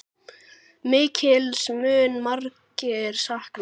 Mikils munu margir sakna.